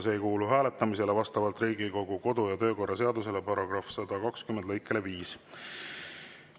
See ei kuulu hääletamisele vastavalt Riigikogu kodu‑ ja töökorra seaduse § 120 lõikele 5.